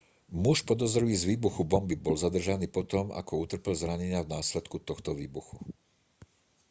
muž podozrivý z výbuchu bomby bol zadržaný potom ako utrpel zranenia v následku tohto výbuchu